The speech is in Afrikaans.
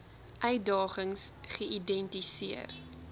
uitdagings geïdenti seer